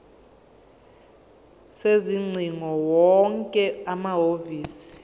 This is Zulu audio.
sezingcingo wonke amahhovisi